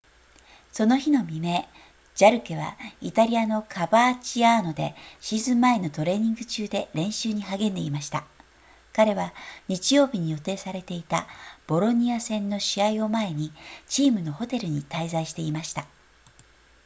その日の未明ジャルケはイタリアのカバーチアーノでシーズン前のトレーニング中で練習に励んでいました彼は日曜日に予定されていたボロニア戦の試合を前にチームのホテルに滞在していました